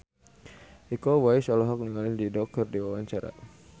Iko Uwais olohok ningali Dido keur diwawancara